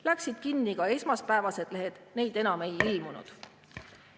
Läksid kinni ka esmaspäevased lehed, neid enam ei ilmunud.